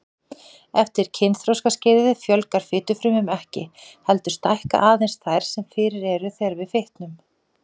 Eftir kynþroskaskeiðið fjölgar fitufrumum ekki, heldur stækka aðeins þær sem fyrir eru þegar við fitnum.